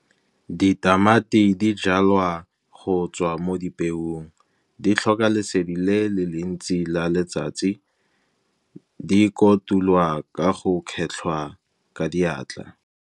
Ditamati di jalwa go tswa mo dipeong, di tlhoka lesedi le le le ntsi la letsatsi, di kotulwa ka go kgetlhwa ka diatla.